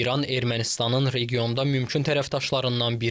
İran Ermənistanın regionda mümkün tərəfdaşlarından biridir.